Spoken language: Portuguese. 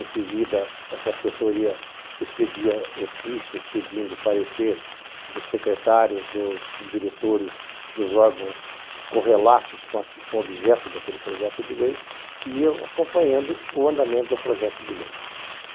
Em seguida, essa assessoria expedia ofícios pedindo o parecer dos secretários, dos diretores, dos órgãos correlatos com o objeto daquele projeto de lei e ia acompanhando o andamento do projeto de lei.